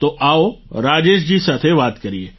તો આવો રાજેશ જી સાથે વાત કરીએ